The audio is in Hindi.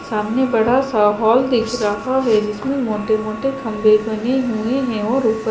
सामने बड़ा सा हॉल दिख रहा है जिसमे मोटे मोटे खम्बे बने हुए है और ऊपर--